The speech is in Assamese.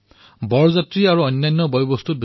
ইয়াত অত্যাধিক ব্যয় কৰাৰ প্ৰয়োজন নাই